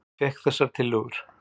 Ég fékk þessar tillögur.